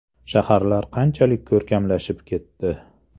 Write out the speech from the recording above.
Shaharlar qanchalik ko‘rkamlashib ketdi.